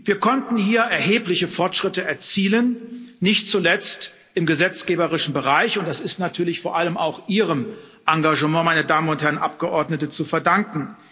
Wir konnten hier erhebliche Fortschritte erzielen, nicht zuletzt im gesetzgeberischen Bereich, und das ist natürlich vor allem auch Ihrem Engagement, meine Damen und Herren Abgeordnete, zu verdanken.